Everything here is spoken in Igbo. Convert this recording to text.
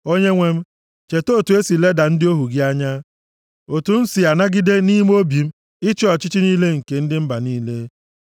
Onyenwe m, cheta otu e si leda ndị ohu gị anya, otu m si anagide nʼime obi m ịchị ọchị niile nke ndị mba niile.